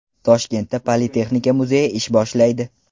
Toshkentda Politexnika muzeyi ish boshlaydi.